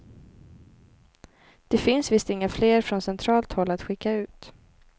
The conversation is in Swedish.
Det finns visst inga fler från centralt håll att skicka ut.